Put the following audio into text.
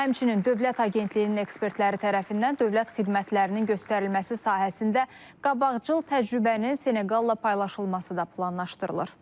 Həmçinin, dövlət Agentliyinin ekspertləri tərəfindən dövlət xidmətlərinin göstərilməsi sahəsində qabaqcıl təcrübənin Seneqalla paylaşılması da planlaşdırılır.